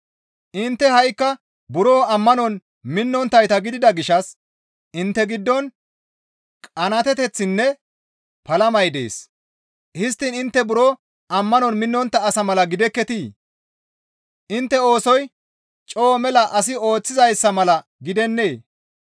Intte ha7ikka buro ammanon minnonttayta gidida gishshas intte giddon qanaateteththinne palamay dees; histtiin intte buro ammanon minnontta asa mala gidekketii? Intte oosoy coo mela asi ooththizayssa mala gidennee?